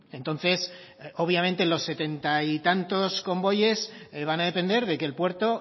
entonces obviamente los setenta y tantos convoyes van a depender de que el puerto